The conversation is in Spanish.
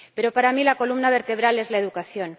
Pero, para mí, la columna vertebral es la educación.